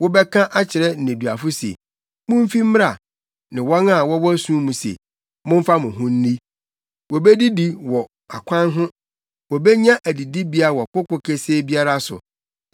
wobɛka akyerɛ nneduafo se, ‘Mumfi mmra!’ ne wɔn a wɔwɔ sum mu se, ‘Momfa mo ho nni!’ “Wobedidi wɔ akwan ho wobenya adidibea wɔ koko kesee biara so.